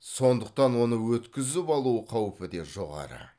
сондықтан оны өткізіп алу қаупі де жоғары